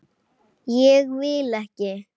Ég vil ekki.